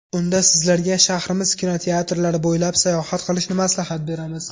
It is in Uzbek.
Unda sizlarga shahrimiz kinoteatrlari bo‘ylab sayohat qilishni maslahat beramiz.